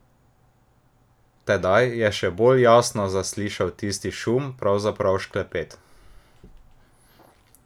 Tedaj je še bolj jasno zaslišal tisti šum, pravzaprav šklepet.